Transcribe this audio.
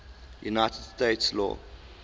united states law